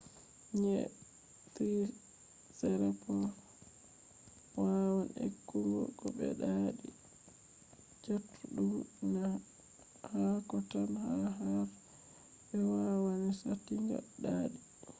nyi’e triceratops’ wawan ekkugo ko be ɗaɗi chatuɗum na haako tan ba har be kowani saatinga ɗaɗi